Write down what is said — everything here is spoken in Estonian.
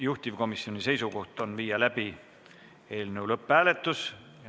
Juhtivkomisjoni seisukoht on viia läbi eelnõu lõpphääletus.